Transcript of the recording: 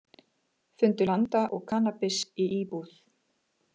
Fundu landa og kannabis í íbúð